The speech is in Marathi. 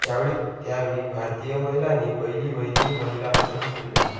त्यावेळी भारतीय महिलांनी पहिली वहिली महिला कसोटी खेळली